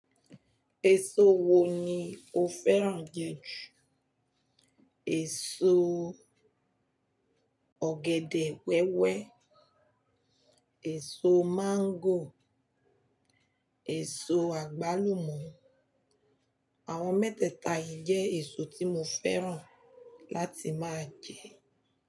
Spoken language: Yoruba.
Èso wo ni o fẹ́ràn jẹ jù? Èso. Ọ̀gẹ̀dẹ̀ wẹ́wẹ́, èso máńgò, èso àgbálùmọ̀. Àwọn mẹ́tẹ̀ẹ̀ta yìí jẹ́ èso tí mo fẹ́ràn láti máa jẹ.